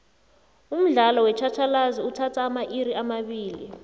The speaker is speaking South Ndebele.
umdlalo wetjhatjhalazi uthatha amairi amabili